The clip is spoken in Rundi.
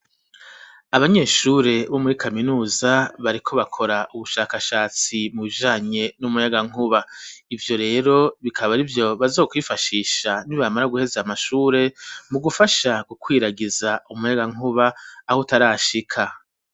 Abanyeshure bo muri kaminuza bariko bakora ubushakashatsi mu bijanye n'umuyagankuba ivyo rero bikaba arivyo bazokwifashisha ni bamara guheza amashure mu gufasha gukwiragiza umuyaga nkuba aho utarashika.